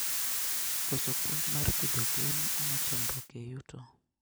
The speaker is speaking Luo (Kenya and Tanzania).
Koso puonj mar pidho gwen omo chandruok e yuto